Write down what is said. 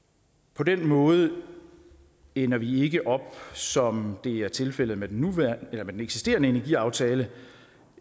på den måde ender vi ikke som det er tilfældet med den eksisterende energiaftale